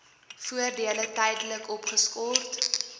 voordele tydelik opgeskort